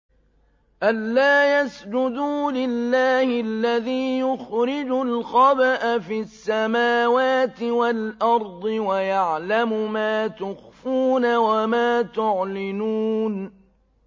أَلَّا يَسْجُدُوا لِلَّهِ الَّذِي يُخْرِجُ الْخَبْءَ فِي السَّمَاوَاتِ وَالْأَرْضِ وَيَعْلَمُ مَا تُخْفُونَ وَمَا تُعْلِنُونَ